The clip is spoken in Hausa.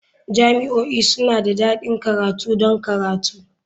Jami'o'i suna da ɗakin karatu don karatu.